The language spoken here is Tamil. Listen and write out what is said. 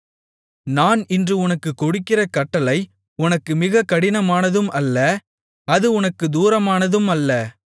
நான் இன்று உனக்கு கொடுக்கிற கட்டளை உனக்கு மிகக் கடினமானதும் அல்ல அது உனக்குத் தூரமானதும் அல்ல